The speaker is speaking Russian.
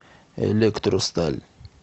электросталь